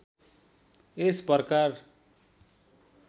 यस प्रकार